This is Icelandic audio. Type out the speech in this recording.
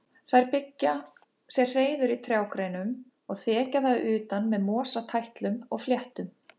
Þær byggja sér hreiður í trjágreinum og þekja það að utan með mosatætlum og fléttum.